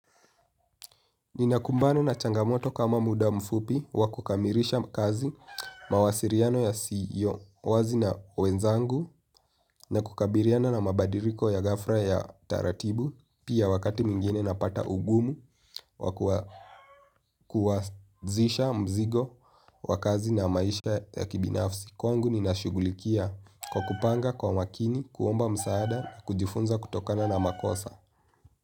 Ninakumbana na changamoto kama muda mfupi wa kukamirisha kazi, mawasiriano yasiyo wazi na wenzangu na kukabiriana na mabadiriko ya ghafra ya taratibu pia wakati mwingine napata ugumu wa kuwazisha mzigo wa kazi na maisha ya kibinafsi. Kwangu ninashugulikia kwa kupanga kwa makini, kuomba msaada na kujifunza kutokana na makosa.